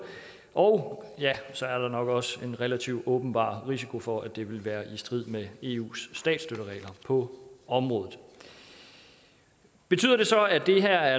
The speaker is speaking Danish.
og så er der nok også en relativt åbenbar risiko for at det vil være i strid med eus statsstøtteregler på området betyder det så at det her